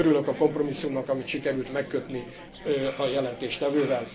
Örülök a kompromisszumnak, amit sikerült megkötni a jelentéstevővel.